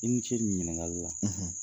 I ni ce ni ɲininkakali la, .